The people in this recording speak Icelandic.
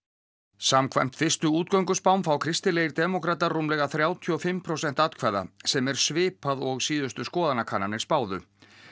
samkvæmt fyrstu fá kristilegir demókratar rúmlega þrjátíu og fimm prósent atkvæða sem er svipað og síðustu skoðanakannanir spáðu